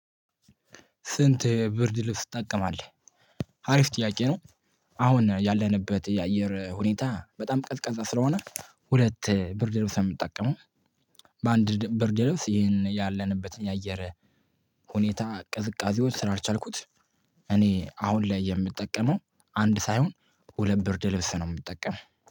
ስንት ብርድ ልብስ ትጠቀማለህ? አሪፍ ጥያቄ ነው። አሁን ያለንበት የአየር ሁኔታ በጣም ቀዝቃዛ ስለሆነ ሁለት ብርድ ልብስ ነው የምጠቀመው። በአንድ ብርድ ልብስ ይሄን ያለንበት ያአየር ሁኔታ ቅዝቃዜዉን ስላልቻልኩት እኔ አሁን ላይ የምጠቀመው አንድ ሳይሆን ሁለት ብርድ ልብስ ነው የምጠቀመው።